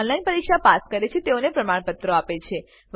જેઓ ઓનલાઈન પરીક્ષા પાસ કરે છે તેઓને પ્રમાણપત્રો આપે છે